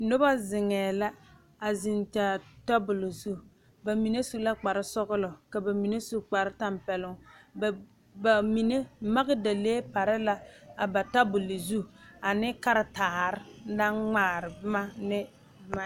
Noba zeŋe la a zeŋ Kyaara tabol zu bamine su la kpare sɔglɔ ka bamine su kpare tanpɛloŋ bamine magdalee pare la a ba tabol zu ane karetara naŋ ŋmaare boma ne.